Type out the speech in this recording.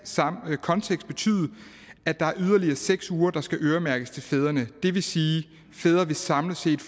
kontekst betyde at der er yderligere seks uger der skal øremærkes til fædrene det vil sige at fædre samlet set